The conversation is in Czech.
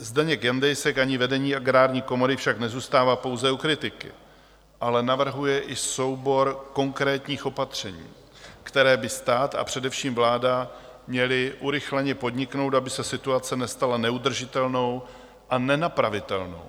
Zdeněk Jandejsek ani vedení Agrární komory však nezůstává pouze u kritiky, ale navrhuje i soubor konkrétních opatření, která by stát, a především vláda měly urychleně podniknout, aby se situace nestala neudržitelnou a nenapravitelnou.